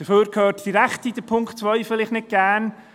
Dafür hört die Rechte Punkt 2 vielleicht nicht gerne.